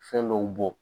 Fɛn dɔw bɔ